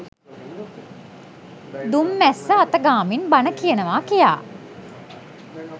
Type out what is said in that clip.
දුම් මැස්ස අත ගාමින් බණ කියනවා කියාය.